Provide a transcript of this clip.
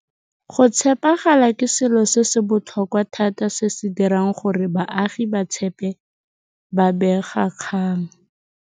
Go tshepagala ke selo se se botlhokwa thata se se dirang gore baagi ba tshepe babegakgang.